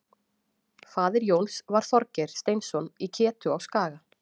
Faðir Jóns var Þorgeir Steinsson í Ketu á Skaga.